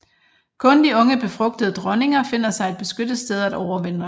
Kun de unge befrugtede dronninger finder sig et beskyttet sted at overvintre